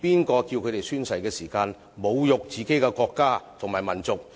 誰教他們在宣誓時侮辱自己的國家和民族？